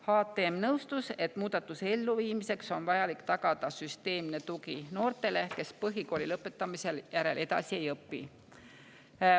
HTM nõustus, et muudatuse elluviimiseks on vajalik tagada süsteemne tugi noortele, kes põhikooli lõpetamise järel edasi ei õpi.